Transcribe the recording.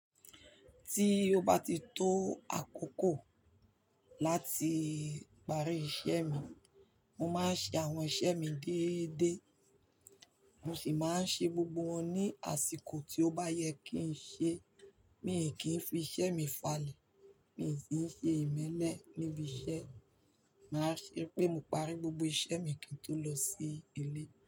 Tí ó bá ti tó àkókò láti parí iṣẹ́ mi, mo máa ń ṣe àwọn iṣẹ́ mi déédéé, mo sì máa ń ṣe gbogbo wọn ní àsìkò tí ó bá yẹ kí n ṣe. Mi ò kí ń fi iṣẹ́ mi falẹ̀, mi ò sì ń ṣe ìmẹ́lẹ̀ níbi iṣẹ́. Máa ṣé pé mo parí gbogbo iṣẹ́ mi kí n tó lọ sí ilé.